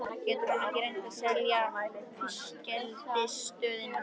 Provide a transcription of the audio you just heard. Getur hann ekki reynt að selja fiskeldisstöðina?